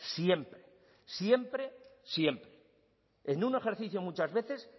siempre siempre siempre en un ejercicio muchas veces